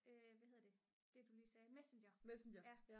hvad hedder det det der du lige sagde messenger ja